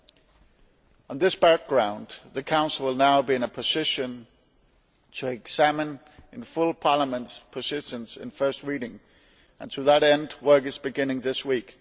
Against this background the Council will now be in a position to examine in full Parliament's positions in first reading, and to that end work is beginning this week.